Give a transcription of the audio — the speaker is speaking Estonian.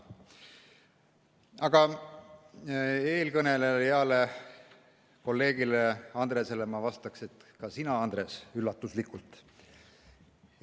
Aga eelkõnelejale, heale kolleegile Andresele ma vastaksin, et ka sina, Andres, üllatuslikult!